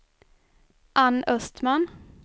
Anne Östman